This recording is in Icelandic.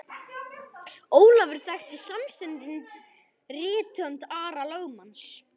Ólafur þekkti samstundis rithönd Ara lögmanns.